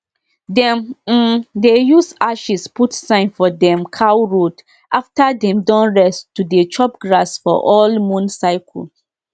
dis sharing mata don make me sabi say farming no be just hoe just hoe and sweat na about connecting hearts and serving god purpose